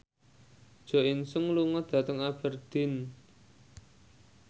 Jo In Sung lunga dhateng Aberdeen